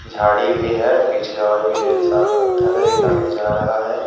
झाड़ी भी है पीछे और भी ढेर सारा पत्थर है एक गाड़ी जा रहा है।